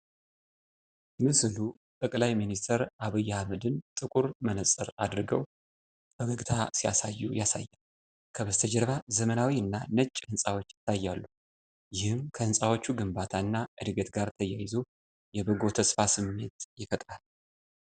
ምስሉ ጠቅላይ ሚኒስትር አብይ አህመድን ጥቁር መነጽር አድርገው ፈገግታ ሲያሳዩ ያሳያል። ከበስተጀርባ ዘመናዊ እና ነጭ ሕንጻዎች ይታያሉ፤ ይህም ከሕንጻዎቹ ግንባታ እና እድገት ጋር ተያይዞ የበጎ ተስፋ ስሜት ይፈጥራል።